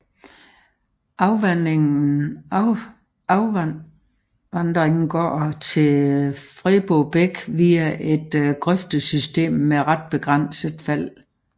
Afvandingen går til Febro bæk via et grøftesystem med ret begrænset fald